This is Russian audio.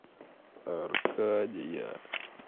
аркадия